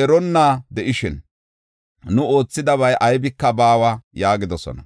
eronna de7ishin, nu oothidabay aybika baawa” yaagidosona.